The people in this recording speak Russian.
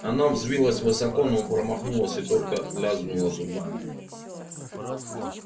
она взвилась высоко но промахнулась и только лязгнула зубами